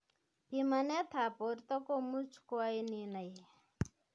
Pimanet ap borto komuch koain inai